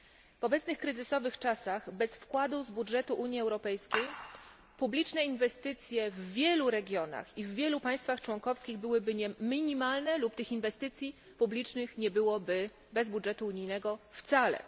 W obecnych kryzysowych czasach bez wkładu z budżetu Unii Europejskiej publiczne inwestycje w wielu regionach i w wielu państwach członkowskich byłyby minimalne lub tych inwestycji publicznych nie byłoby bez budżetu unijnego wcale.